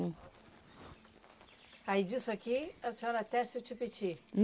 Aí disso aqui a senhora tece o tipiti?